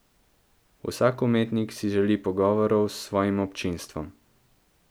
Vsak umetnik si želi pogovorov s svojim občinstvom.